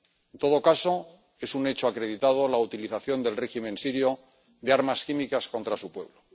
En todo caso, es un hecho acreditado la utilización del régimen sirio de armas químicas contra su pueblo.